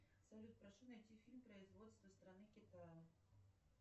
салют прошу найти фильм производства страны китая